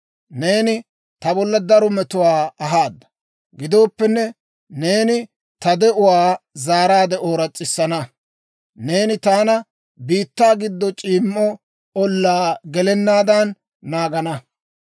Neeni ta bolla daro metuwaa ahaada; gidooppenne, neeni ta de'uwaa zaaraadde ooras's'isana; neeni taana biittaa gido c'iimmo olaa gelenaadan naagana.